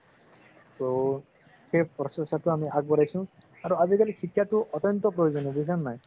so সেই প্ৰচেষ্টাটো আমি আগবঢ়াইছো আৰু আজি কালি শিক্ষাটো অত্যন্ত প্ৰয়োজনীয় বুজিচা নে নাই